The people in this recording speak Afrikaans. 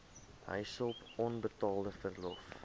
huishulp onbetaalde verlof